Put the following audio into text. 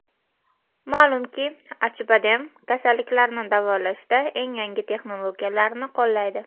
Ma’lumki, Acibadem kasalliklarni davolashda eng yangi texnologiyalarni qo‘llaydi.